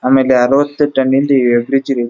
ಆಮೇಲೆ ಅರ್ವತ್ತು ಟನ್ ದು ಬ್ರಿಡ್ಜ್ ಇದೆ.